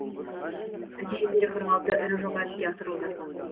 нәтижесінде қырық алты ірі жоба іске асырылды